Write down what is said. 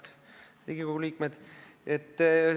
Head Riigikogu liikmed!